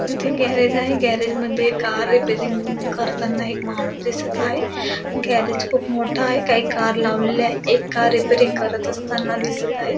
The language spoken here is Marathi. इथे गॅरेज आहे. गॅरेज मध्ये कार रिपेरिंग करताना एक माणूस दिसत आहे. गॅरेज खूप मोठं आहे. काही कार लावलेलं आहे. एक कार रिपेरिंग करत असताना दिसत आहे.